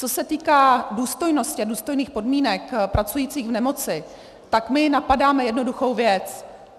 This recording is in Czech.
Co se týká důstojnosti a důstojných podmínek pracujících v nemoci, tak my napadáme jednoduchou věc.